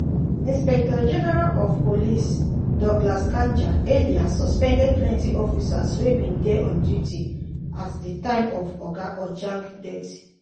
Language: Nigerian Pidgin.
inspector-general of police douglas kanja earlier suspend plenty officers wey bin dey on duty at di time of oga ojwang um death. um